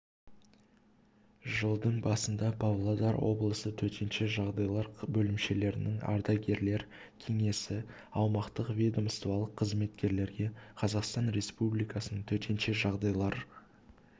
жылдың басында павлодар облысы төтенше жағдайлар бөлімшелерінің ардагерлер кеңесі аумақтық ведомстволық қызметкерлерге қазақстан республикасының төтенше жағдайлар